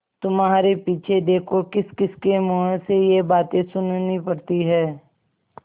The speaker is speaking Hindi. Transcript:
तुम्हारे पीछे देखो किसकिसके मुँह से ये बातें सुननी पड़ती हैं